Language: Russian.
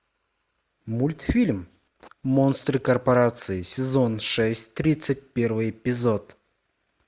мультфильм монстры корпорации сезон шесть тридцать первый эпизод